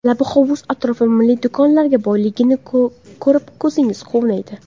Labi hovuz atrofi milliy do‘konlarga boyligini ko‘rib ko‘zingiz quvnaydi.